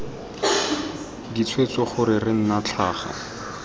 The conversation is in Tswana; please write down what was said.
ditshwetso gore re nna tlhaga